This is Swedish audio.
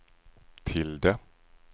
tilde